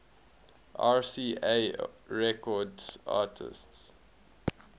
rca records artists